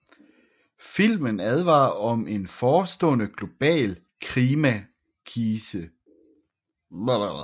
Filmen advarer om en forestående global klimakrise